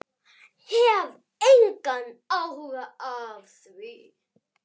Hef engan áhuga á því.